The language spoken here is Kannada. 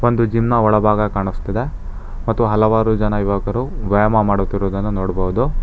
ಒಂದು ಜಿಮ್ ನ ಒಳಭಾಗ ಕಾಣಿಸ್ತಿದೆ ಮತ್ತು ಹಲವಾರು ಜನ ಯುವಕರು ವ್ಯಾಯಾಮ ಮಾಡುತ್ತಿರುವುದನ್ನು ನೋಡಬೋದು.